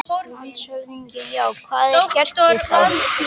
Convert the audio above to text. LANDSHÖFÐINGI: Já, hvað var gert við þá?